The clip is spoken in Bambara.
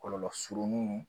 Kɔlɔlɔ surunnin